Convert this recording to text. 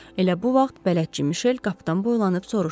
Elə bu vaxt bələdçi Mişel qapıdan boylanıb soruşdu.